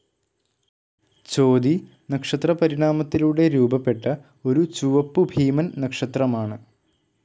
ചോതി നക്ഷത്രപരിണാമത്തിലൂടെ രൂപപ്പെട്ട ഒരു ചുവപ്പുഭീമൻ നക്ഷത്രമാണ്.